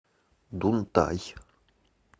дунтай